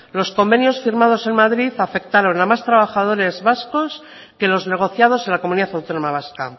los convenios firmados en madrid afectaron a más trabajadores vascos que los negociados en la comunidad autónoma vasca